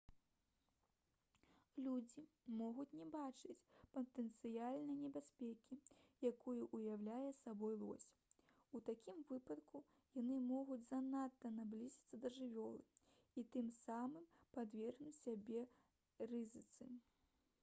людзі могуць не бачыць патэнцыяльнай небяспекі якую ўяўляе сабой лось у такім выпадку яны могуць занадта наблізіцца да жывёлы і тым самым падвергнуць сябе рызыцы